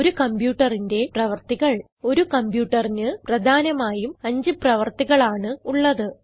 ഒരു കംപ്യൂട്ടറിന്റെ പ്രവർത്തികൾ ഒരു കംപ്യൂട്ടറിന് പ്രധാനമായും അഞ്ച് പ്രവർത്തികൾ ആണ് ഉള്ളത്